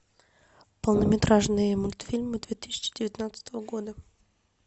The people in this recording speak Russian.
полнометражные мультфильмы две тысячи девятнадцатого года